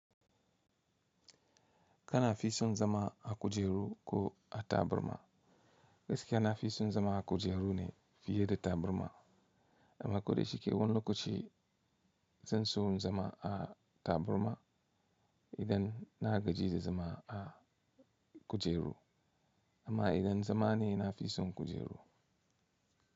Kana fi son zama a kujeru ko a taburma? Gaskiya na fi son zama a kujeru ne fiye da taburma amma ko da shike wani lokaci zan so in zama a taburma idan na gaji da zama a kujeru amma idan zama ne na fi son kujeru.